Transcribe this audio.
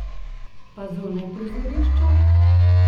Pa zunaj prizorišča?